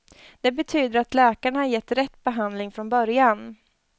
Det betyder att läkarna kan ge rätt behandling från början.